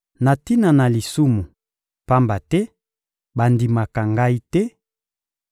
na tina na lisumu, pamba te bandimaka Ngai te;